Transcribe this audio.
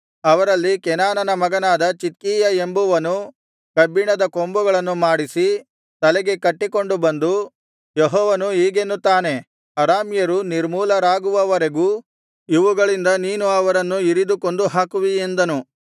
ಅವರಲ್ಲಿ ಕೆನಾನನ ಮಗನಾದ ಚಿದ್ಕೀಯ ಎಂಬುವನು ಕಬ್ಬಿಣದ ಕೊಂಬುಗಳನ್ನು ಮಾಡಿಸಿ ತಲೆಗೆ ಕಟ್ಟಿಕೊಂಡು ಬಂದು ಯೆಹೋವನು ಹೀಗೆನ್ನುತ್ತಾನೆ ಅರಾಮ್ಯರು ನಿರ್ಮೂಲರಾಗುವವರೆಗೂ ಇವುಗಳಿಂದ ನೀನು ಅವರನ್ನು ಇರಿದು ಕೊಂದುಹಾಕುವಿ ಎಂದನು